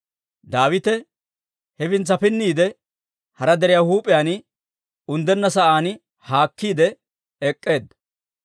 Daawite hefintsa pinniide, hara deriyaa huup'iyaan unddenna sa'aan haakkiide ek'k'eedda.